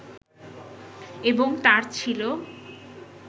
এবং তাঁর ছিল